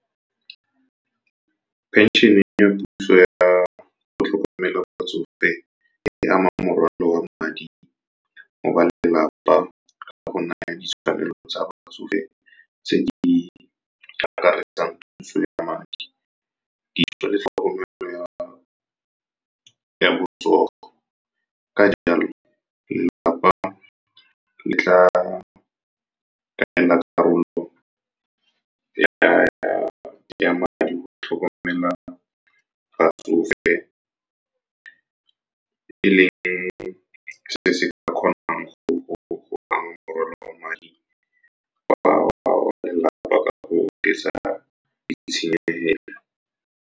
Phenšene ya puso ya go tlhokomela batsofe e ama morwalo wa madi mo ba lelapa ka go naya ditshwanelo tsa batsofe tse di akaretsang puso ya madi le tlhokomelo ya botsogo. Ka jalo, lelapa le tla nna le karolo ya madi go tlhokomela batsofe, e leng se se ka kgonang go ama morwalo wa madi wa lelapa ka go oketsa ditshenyegelo.